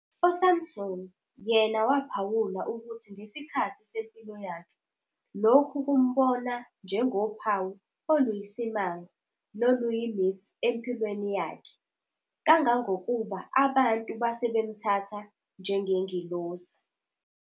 USampson yena waphawula ukuthi ngesikhathi sempilo yakhe, lokhu kumbona njengophawu oluyisimanga noluyi-myth empilweni yakhe, kangangokuba abantu basebemthatha njengengilosi".